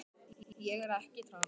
Tilkynningar í sjónvarpi og útvarpi.